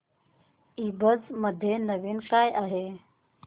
ईबझ मध्ये नवीन काय आहे